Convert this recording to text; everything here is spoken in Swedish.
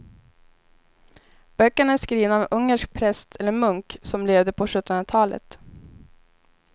Böckerna är skrivna av en ungersk präst eller munk som levde på sjuttonhundratalet.